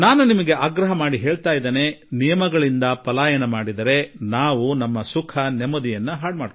ನಿಯಮಗಳಿಂದ ತಪ್ಪಿಸಿಕೊಂಡು ಹೋಗಿ ನಾವು ನಮ್ಮ ನೆಮ್ಮದಿ ಸುಖ ಕಳೆದುಕೊಳ್ಳುತ್ತೇವೆ ಎಂದು ನಾನು ಇಂದು ನಿಮ್ಮಲ್ಲಿ ನಿವೇದನೆ ಮಾಡಿಕೊಳ್ಳಬಯಸುವೆ